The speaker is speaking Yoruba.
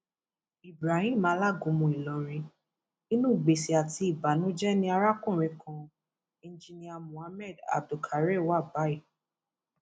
ibrahim alágúnmu ìlọrin inú gbèsè àti ìbànújẹ ni arákùnrin kan enjinníà mohammed abdulkare wà báyìí